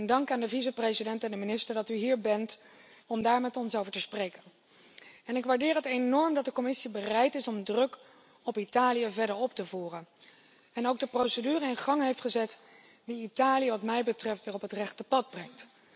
Dank aan de vicevoorzitter en de minister dat u hier bent om daar met ons over te spreken. Ik waardeer het enorm dat de Commissie bereid is om de druk op Italië verder op te voeren en ook de procedure in gang heeft gezet die Italië wat mij betreft weer op het rechte pad brengt.